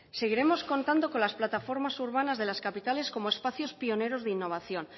seguiremos contando con las plataformas urbanas de las capitales como espacios pioneros de innovación